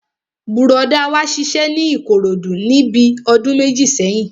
Bùrọ̀dá wa ṣiṣẹ́ ní Ìkòròdú níbi ọdún méjì sẹ́yìn